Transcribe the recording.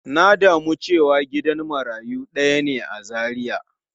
Na damu cewa gidan marayu daya ne a Zaria.